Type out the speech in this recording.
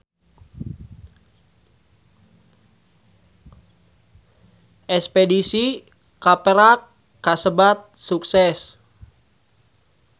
Espedisi ka Perak kasebat sukses